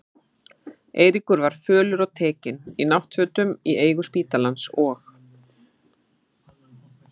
Eiríkur var fölur og tekinn, í náttfötum í eigu spítalans, og